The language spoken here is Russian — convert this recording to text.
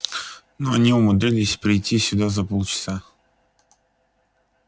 но они умудрились прийти сюда за полчаса